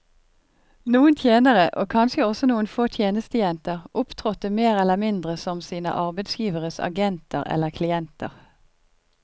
Noen tjenere, og kanskje også noen få tjenestejenter, opptrådte mer eller mindre som sine arbeidsgiveres agenter eller klienter.